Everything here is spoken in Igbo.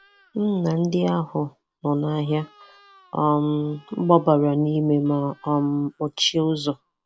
M na ndị ahụ nọ n'ahịa um gbabara n'ime ma um kpọchie ụzọ.